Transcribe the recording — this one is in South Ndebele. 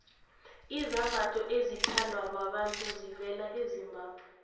izambatho ezithandwa babantu zivela ezimbabwe